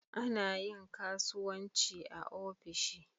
Ana yin kasuwanci ofishi.